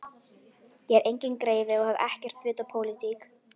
Ég er enginn greifi og hef ekkert vit á pólitík.